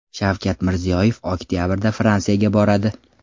Shavkat Mirziyoyev oktabrda Fransiyaga boradi.